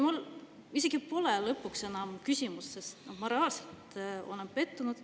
Mul isegi pole lõpuks enam küsimust, sest ma reaalselt olen pettunud.